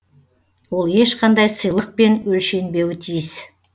ол ешқандай сыйлықпен өлшенбеуі тиіс